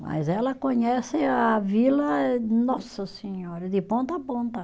Mas ela conhece a vila eh, nossa senhora, de ponta a ponta.